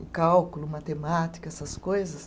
E cálculo, matemática, essas coisas.